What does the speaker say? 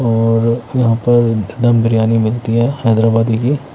और यहाँ पर दम-बिरयानी मिलती है हैदराबादी की--